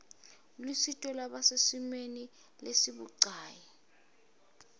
lusito lwalabasesimeni lesibucayi